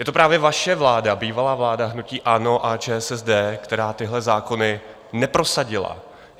Je to právě vaše vláda, bývalá vláda hnutí ANO a ČSSD, která tyhle zákony neprosadila.